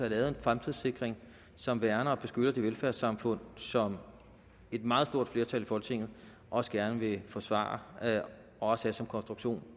lavet en fremtidssikring som værner og beskytter det velfærdssamfund som et meget stort flertal i folketinget også gerne vil forsvare og også have som konstruktion